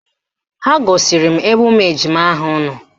Ha gosiri m ebe ụmụ ejima ahụ nọ